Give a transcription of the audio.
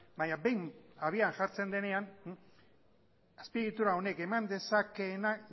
baina behin habian jartzen denean azpiegitura honek eman dezakeena